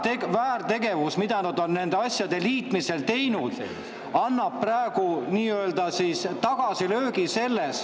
Komisjoni väärtegevus nende asjade liitmisel annab praegu nii-öelda tagasilöögi.